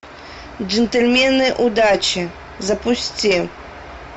джентльмены удачи запусти